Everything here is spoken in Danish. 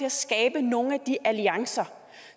at skabe nogle af de alliancer